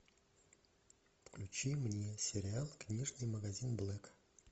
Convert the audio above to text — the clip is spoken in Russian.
включи мне сериал книжный магазин блэка